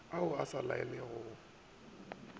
ao a sa laolegego le